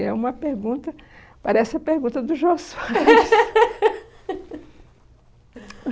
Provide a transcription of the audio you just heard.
é uma pergunta, parece a pergunta do Jô Soares